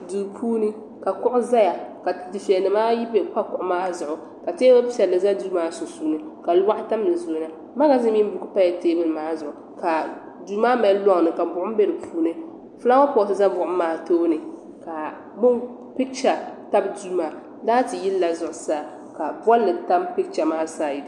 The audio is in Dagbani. Duu puuni ka kuɣu zaya ka difiɛnimaayi pa kuɣu maa zuɣu ka teebuli piɛlli za duu maa sunsuuni ka luɣu tam di zuɣu magazin mini buku pala teebuli zuɣu ka duumaa mali loŋni ka buɣim be di puuni fulaawa pot za buɣim maa tooni ka picha tabi duumaa laati yili la zuɣu saa ka bolli tam picha maa sayid.